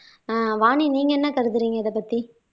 ஆஹ் வாணி நீங்க என்ன கருத்துரிங்க இத பத்தி